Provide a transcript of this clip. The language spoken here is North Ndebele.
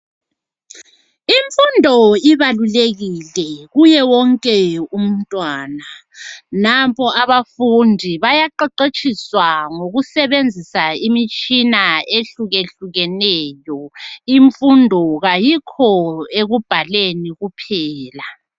Imfundo ibalulekile kuye wonke umntwana. Nampo abafundi bayaqeqetshiswa ngokusebenzisa imitshina ehlukehlukeneyo imfundo kayikho ekubhaleni kuphela.